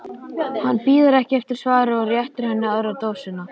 Hann bíður ekki eftir svari og réttir henni aðra dósina.